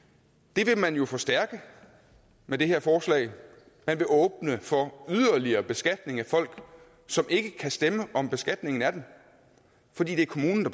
det vil man jo forstærke med det her forslag man vil åbne for yderligere beskatning af folk som ikke kan stemme om beskatningen af dem fordi det er kommunen